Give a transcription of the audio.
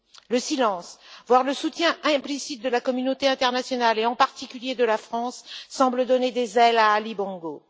Le silence, voire le soutien implicite de la communauté internationale et en particulier de la France semble donner des ailes à Ali Bongo.